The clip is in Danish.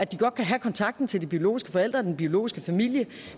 godt kan have kontakten til de biologiske forældre og den biologiske familie